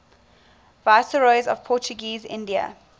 viceroys of portuguese india